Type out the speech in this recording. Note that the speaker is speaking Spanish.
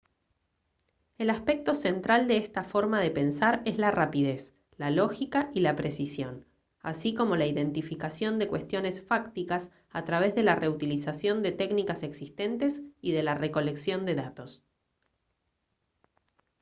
el aspecto central de esta forma de pensar es la rapidez la lógica y la precisión así como la identificación de cuestiones fácticas a través de la reutilización de técnicas existentes y de la recolección de datos